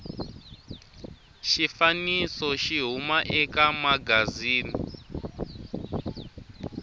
xifaniso xi huma eka magazini